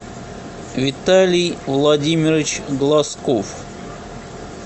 виталий владимирович глазков